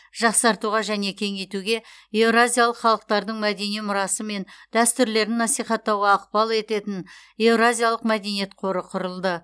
жақсартуға және кеңейтуге еуразиялық халықтардың мәдени мұрасы мен дәстүрлерін насихаттауға ықпал ететін еуразиялық мәдениет қоры құрылды